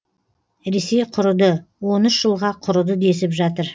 ресей құрыды он үш жылға құрыды десіп жатыр